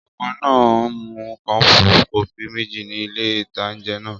Ọkùnrin náà mu kọ́ọ̀pù kọfí méjì ní ilé-ìtánjẹ náà